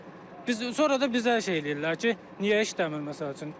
Yəni biz sonra da bizi şey eləyirlər ki, niyə işləmir, məsəl üçün.